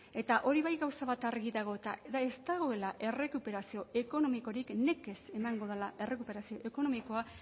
eta hori bai gauza bat argi dago eta da ez dagoela errekuperazio ekonomikorik nekez emango dela errekuperazio ekonomikoa